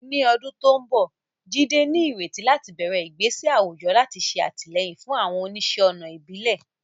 Ní ọdún tó ń bọ̀, Jide ní ìrètí láti bẹ̀rẹ̀ ìgbésẹ̀ àwùjọ láti ṣe àtìlẹ́yìn fún àwọn oníṣẹ́-ọnà ìbílẹ̀.